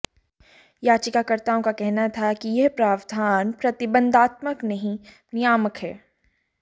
याचिकाकर्ताओं का कहना था कि यह प्रावधान प्रतिबंधात्मक नहीं नियामक है